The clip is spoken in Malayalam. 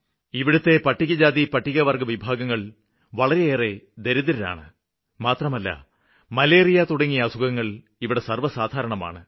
ഇവിടുത്തെ പട്ടികജാതിപട്ടികവര്ഗ്ഗവിഭാഗങ്ങള് വളരെയേറെ ദരിദ്രരാണ് മാത്രമല്ല മലേറിയ തുടങ്ങിയ അസുഖങ്ങള് ഇവിടെ സര്വ്വസാധാരണമാണ്